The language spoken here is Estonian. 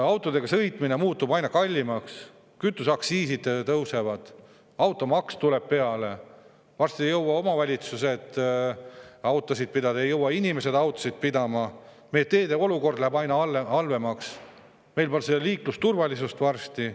Autodega sõitmine muutub aina kallimaks, kütuseaktsiisid tõusevad, automaks tuleb peale, varsti ei jõua omavalitsused autosid pidada, ei jõua inimesed autosid pidada, meie teede olukord läheb aina halvemaks, meil pole liiklusturvalisust varsti.